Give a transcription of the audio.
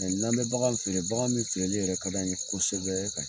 n'an be bagan feere, bagan min feereli yɛrɛ ka d'an ye kosɛbɛ ka